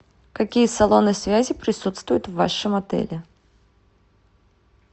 какие салоны связи присутствуют в вашем отеле